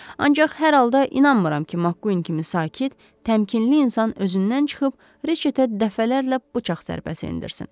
Ancaq hər halda inanmıram ki, Maqqvin kimi sakit, təmkinli insan özündən çıxıb Riçetə dəfələrlə bıçaq zərbəsi endirsin.